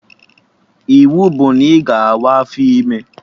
Iwu bụ na ị ga awa afọ ime!